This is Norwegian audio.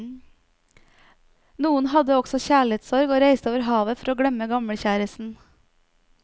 Noen hadde også kjærlighetsorg og reiste over havet for å glemme gamlekjæresten.